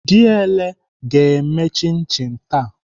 Diele ga-eme chin chin taa.